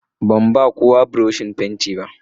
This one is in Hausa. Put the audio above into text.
Ban ba kowa buroshin fenti ba.